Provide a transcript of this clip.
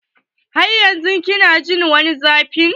Har yanzun kina jin ko wani zafi?